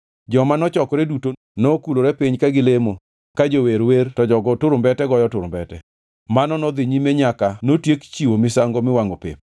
Joma nochokore duto nokulore piny ka gilemo ka jower wer to jogo turumbete goyo turumbete. Mano nodhi nyime nyaka notiek chiwo misango miwangʼo pep.